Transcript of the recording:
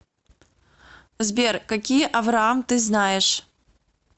сбер какие авраам ты знаешь